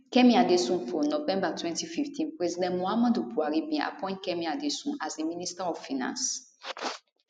kemi adeosunfor november 2015 president muhammadu buhari bin appoint kemi adeosun as di minister of finance